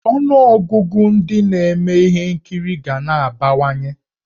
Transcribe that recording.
Ọnụọgụgụ ndị na-eme ihe nkiri ga na-abawanye.